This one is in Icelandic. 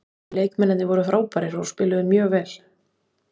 Leikmennirnir voru frábærir og spiluðu mjög vel.